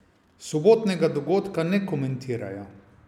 Sobotnega dogodka ne komentirajo.